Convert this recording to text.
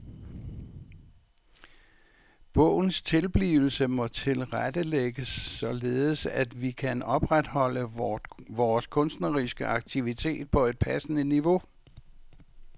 Bogens tilblivelse må tilrettelægges sådan at vi kan opretholde vores kunstneriske aktivitet på et passende niveau.